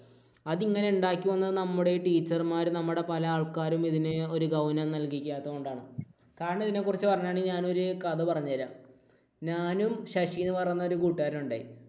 അത് ഇങ്ങനെ ഉണ്ടാക്കി വന്ന നമ്മുടെ ഈ teacher മാരും നമ്മുടെ പല ആൾക്കാരും ഇതിന് ഒരു ഗൗനം നൽകിക്കാത്തതുകൊണ്ടാണ്. കാരണം ഇതിനെക്കുറിച്ച് പറയുകയാണെങ്കിൽ ഞാൻ ഒരു കഥ പറഞ്ഞു തരാം. ഞാനും ശശി എന്ന് പറയുന്ന ഒരു കൂട്ടുകാരനും ഉണ്ടായി.